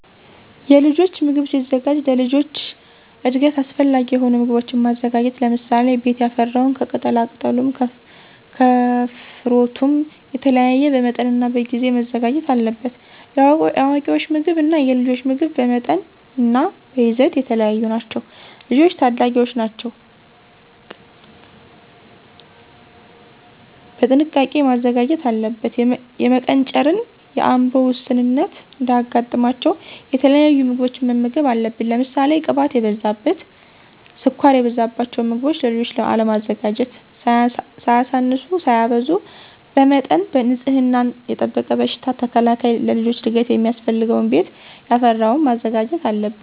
የልጆች ምግብ ሲዘጋጅ ለልጆች እድገት አሰፈላጊ የሆኑ ምጎቦችን ማዘጋጀት ለምሳሌ፦ ቤት ያፈራውን ከቅጣላቅጠሉም ከፍሩትም የተለያዩ በመጠንናበጊዜ መዘጋጀት አለበት። የአዋቂወች ምግብ እና የልጆች ምግብ በመጠንናበይዘት የተለያዩ ናቸው። ልጆች ታዳጊወች ናቸው ቀጥንቃ መዘጋጀት አለበት። የመቀንጨርን የአምሮ ውስንነት እንዳያጋጥማቸው የተለያዩ ምግቦችን መመገብ አለብን። ለምሳሌ ቅባት የበዛበት፣ ስኳር የበዛበቸውን ምገቦችን ለልጆች አለማዘጋጀት። ሳያሳንሱ ሳያበዙ በመጠን ንፅህናወን የጠበቀ በሽታ ተከላካይ ለልጆች እድገት ሚያስፈልገውን ቤት ያፈራወን ማዘጋጀት አለብን።